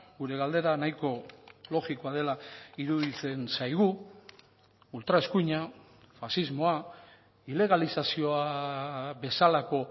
gure galdera nahiko logikoa dela iruditzen zaigu ultra eskuina faxismoa ilegalizazioa bezalako